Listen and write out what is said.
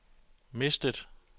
mistet